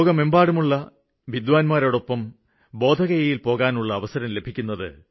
ലോകം മുഴുവനുമുള്ള ഈ വിദ്വാന്മാരോടൊപ്പം ബോധഗയയില് പോകാനുള്ള അവസരം കിട്ടും